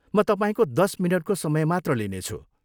म तपाईँको दस मिनटको समय मात्र लिनेछु।